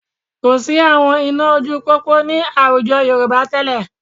Kò sí àwọn iná ojú pópó ní àwùjọ Yorùbá tẹ́lẹ̀